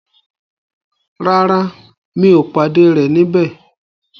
Rárá, mi ò pàdé rẹ̀ níbẹ̀.